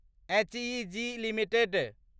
HEG limited